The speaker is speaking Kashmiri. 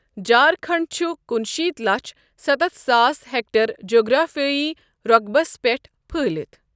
جھارکھنڈ چُھ کُنِشیتھ لَچھ ستتھ ساس ہیٚکٹیر جغرافِیٲیی رۄقبَس پیٚٹھ پھٔہلِتھ ۔